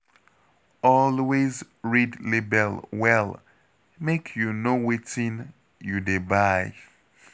Always read label well make you know wetin you dey buy.